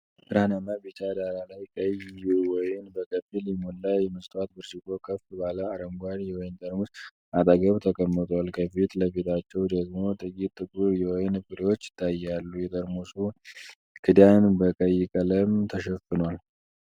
ብርሃናማ ቢጫ ዳራ ላይ፣ ቀይ ወይን በከፊል የሞላ የመስታወት ብርጭቆ ከፍ ባለ አረንጓዴ የወይን ጠርሙስ አጠገብ ተቀምጧል። ከፊት ለፊታቸው ደግሞ ጥቂት ጥቁር የወይን ፍሬዎች ይታያሉ፤ የጠርሙሱ ክዳን በቀይ ቀለም ተሸፍኗል።